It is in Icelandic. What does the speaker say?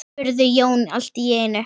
spurði Jón allt í einu.